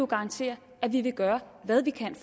garantere at vi vil gøre hvad vi kan